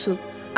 Duzlu su!